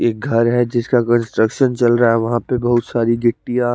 एक घर है जिसका कंस्ट्रक्शन चल रहा है वहां पे बहुत सारी गिट्टियां--